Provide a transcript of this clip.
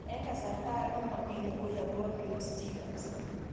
Eng' kasarta ag'e komamia lokoi akopo Peutz Jagers